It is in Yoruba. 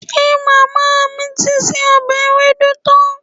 Ṣe màmá mi ti se ọbẹ̀ ewédú tán?